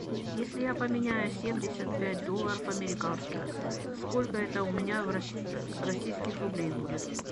если я поменяю семьдесят пять долларов американских сколько это у меня российских рублей будет